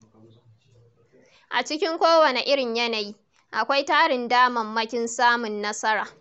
A cikin kowane irin yanayi, akwai tarin damammakin samun nasara.